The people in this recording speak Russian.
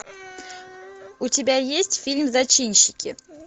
у тебя есть фильм зачинщики